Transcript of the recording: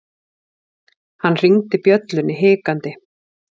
Hann hringdi bjöllunni hikandi.